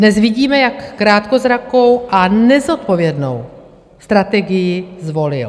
Dnes vidíme, jak krátkozrakou a nezodpovědnou strategii zvolil.